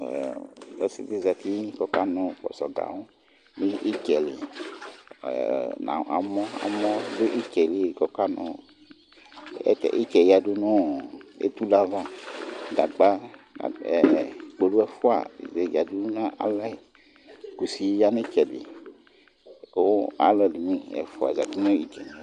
Osidi zati kokanu kposo gawu nitseli itse yudu nu etule ayava gagna kpolu efua yadunale Ku alu edini efua zati nayitse